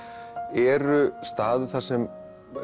eru staður þar sem